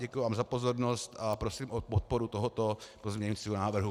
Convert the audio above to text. Děkuji vám za pozornost a prosím o podporu tohoto pozměňujícího návrhu.